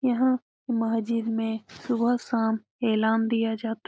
यहाँ महजिद में सुबह-शाम ऐलान दिया जाता --